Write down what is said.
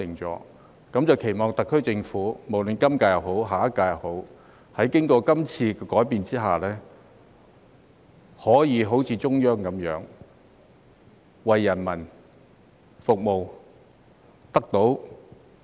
我期望特區政府，不論是今屆或下屆，在經過今次改變後，可以像中央政府般為人民服務。